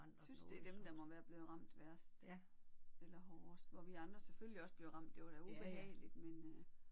Jeg synes det er dem der må været blevet ramt værst eller hårdest hvor vi andre selvfølgelig også blev ramt det var da ubehageligt men øh